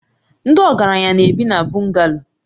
Ndị ọgaranya na-ebi na Bungalo